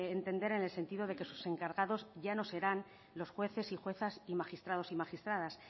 entender en el sentido de que sus encargados ya no serán los jueces y juezas y magistrados y magistradas